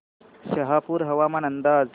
शहापूर हवामान अंदाज